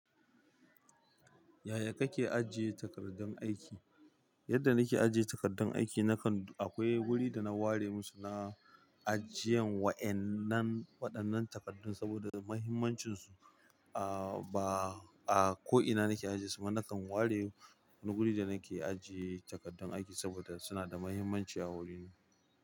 Yaya kake ajiye takardun aiki? Yadda nake ajiye takardun aiki nakan akwai wuri dana ware musu na ajiyan waƴannan waɗannan takardun saboda muhimmancinsu. A ba a ko'ina nake ajiye suba nakan ware wani wuri da nake ajiye takardun aiki saboda suna da muhimmanci a wurina.